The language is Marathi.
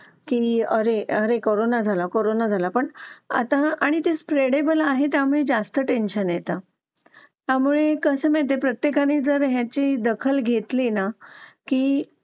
लेट होतं सर्दी खोकला हा एक वाढलं आहे. एका मुलाला क्लास पूर्ण क्लास त्याच्यामध्ये वाहून निघत निघत असतो असं म्हणायला हरकत नाही. हो डेंग्यू, मलेरिया यासारखे आजार पण ना म्हणजे लसीकरण आहे. पूर्ण केले तर मला नाही वाटत आहे रोप असू शकतेपुडी लसीकरणाबाबत थोडं पालकांनी लक्ष दिलं पाहिजे की आपला मुलगा या वयात आलेला आहे. आता त्याच्या कोणत्या लसी राहिलेले आहेत का?